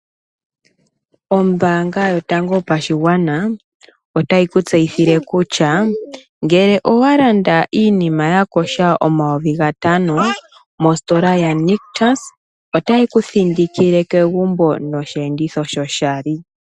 Ombaanga yotango yopashigwana otayi ku tseyithile kutya ngele owalanda iinima mostola yaNictus otayi ku fala kegumbo nodheenditho shoshali.